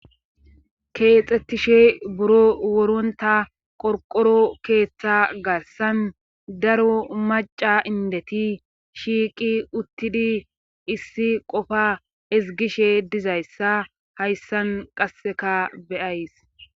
keexettishe buro woronta qorqoro keeththa garsan daro maca indeti shiiqi uttidi issi qofa ezgishe dizayssa hayssan qasseka beyays